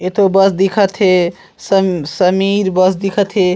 इथो बस दिखथ हे सं समीर बस दिखत हे।